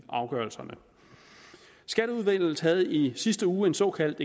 afgørelserne skatteudvalget havde i sidste uge en såkaldt